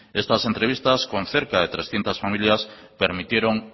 estas entrevistas con cerca de trescientos familias permitieron